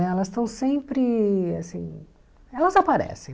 Elas estão sempre assim... Elas aparecem.